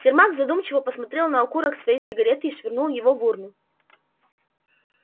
сермак задумчиво посмотрел на окурок своей сигары и швырнул его в урну